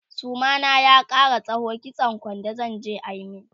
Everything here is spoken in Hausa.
suma na ya Kara tsawo kitsan kwando zanje a min